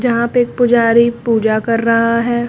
यहां पे पुजारी पूजा कर रहा है।